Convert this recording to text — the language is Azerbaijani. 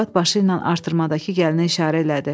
Arvad başı ilə artırmadakı gəlinə işarə elədi.